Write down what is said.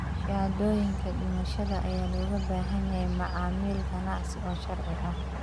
Shahaadooyinka dhimashada ayaa looga baahan yahay macaamil ganacsi oo sharci ah.